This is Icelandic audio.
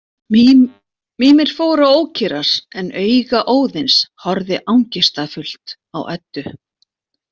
Mímir fór að ókyrrast en auga Óðins horfði angistarfullt á Eddu.